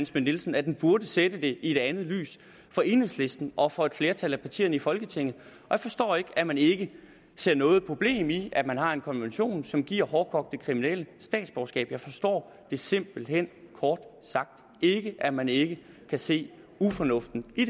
schmidt nielsen at det burde sætte den i et andet lys for enhedslisten og for et flertal af partierne i folketinget jeg forstår ikke at man ikke ser noget problem i at man har en konvention som giver hårdkogte kriminelle statsborgerskab jeg forstår simpelt hen kort sagt ikke at man ikke kan se ufornuften i